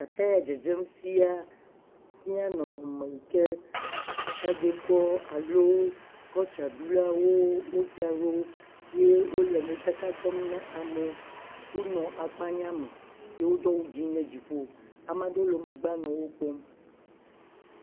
Ete ya dzedzem fia fia nɔnɔme yi ke tsagbekɔ alo kɔltsra ɖulawo wodzra ɖo ye wole modzaka ɖem na amewo. Wonɔ akpanya me ye wodo awu ɖe dziƒo. Ama ɖewo nɔ megbea nɔ wokpɔm.